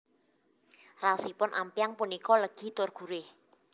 Raosipun ampyang punika legi tur gurih